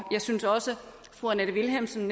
jeg synes også fru annette vilhelmsen